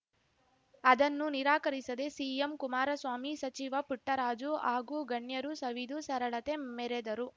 ಅದನ್ನು ನಿರಾಕರಿಸದೆ ಸಿಎಂ ಕುಮಾರಸ್ವಾಮಿ ಸಚಿವ ಪುಟ್ಟರಾಜು ಹಾಗೂ ಗಣ್ಯರು ಸವಿದು ಸರಳತೆ ಮೆರೆದರು